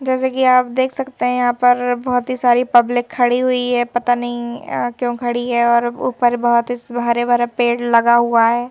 जैसे कि आप देख सकते हैं यहां पर बहोत ही सारी पब्लिक खड़ी हुई है पता नहीं क्यों खड़ी है? और ऊपर बहोत ही हरे भरे पेड़ लगा हुआ है।